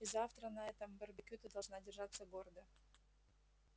и завтра на этом барбекю ты должна держаться гордо